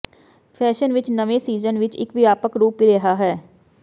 fashion ਵਿੱਚ ਨਵੇਂ season ਵਿੱਚ ਇੱਕ ਵਿਆਪਕ ਰੂਪ ਰਿਹਾ ਹੈ